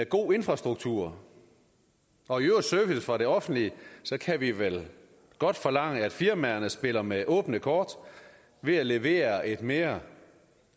god infrastruktur og i øvrigt service fra det offentlige kan vi vel godt forlange af firmaerne at de spiller med åbne kort ved at levere et mere